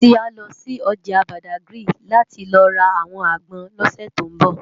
Titi á lò si òjá Bádágiri láti lò rá áwòn ágbòn lòsè tó nbò